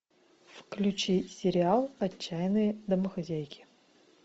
включи сериал отчаянные домохозяйки